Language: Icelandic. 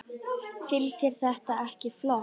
Finnst þér þetta ekki flott?